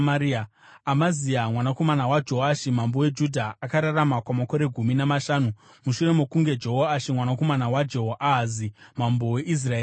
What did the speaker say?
Amazia mwanakomana waJoashi mambo weJudha akararama kwamakore gumi namashanu mushure mokunge Jehoashi mwanakomana waJehoahazi mambo weIsraeri afa.